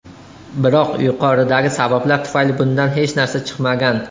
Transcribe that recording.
Biroq yuqoridagi sabablar tufayli bundan hech narsa chiqmagan.